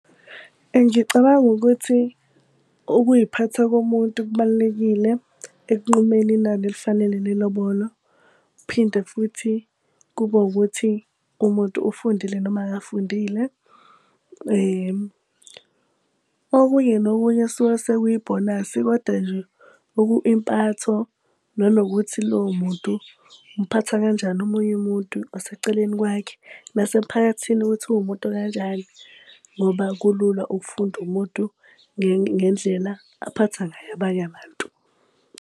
Ngicabanga ukuthi, ukuy'phatha komuntu kubalulekile ekunqumeni inani elifanele le lobolo. Kuphinde futhi kube wukuthi umuntu ufundile noma akafundile. Okunye nokunye kusuke sekuyibhonasi koda nje impatho nanokuthi lowo muntu umphatha kanjani omunye umuntu oseceleni kwakhe. Nasemphakathini ukuthi uwumuntu okanjani, ngoba kulula ukufunda umuntu ngendlela aphatha ngayo abanye abantu.